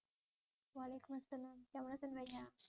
ওয়ালাইকুম আসসালাম কেমন আছেন ভাইয়া?